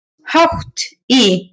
Hátt í